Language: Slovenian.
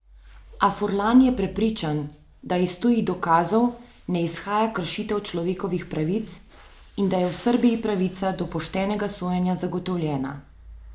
A Furlan je prepričan, da iz tujih dokazov ne izhaja kršitev človekovih pravic in da je v Srbiji pravica do poštenega sojenja zagotovljena.